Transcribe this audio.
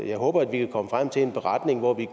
jeg håber at vi kan komme frem til en beretning hvor vi